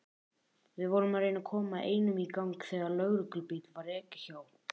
Við vorum að reyna að koma einum í gang þegar lögreglubíl var ekið hjá.